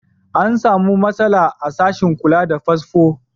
An samu matsala a sashen kula da fasfo.